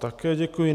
Také děkuji.